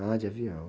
Ah, de avião.